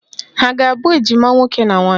Ha a ga-abụ ejima nwoke na nwaanyị?